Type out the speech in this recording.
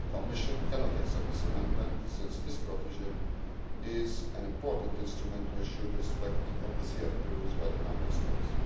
on emergency measures. The Commission cannot accept this amendment since this provision is an important instrument to ensure the respect of the CFP rules